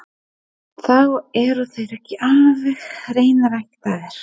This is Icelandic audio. Þá eru þeir ekki alveg hreinræktaðir.